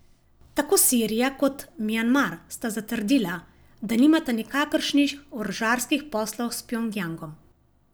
Tako Sirija kot Mjanmar sta zatrdila, da nimata nikakršnih orožarskih poslov s Pjongjangom.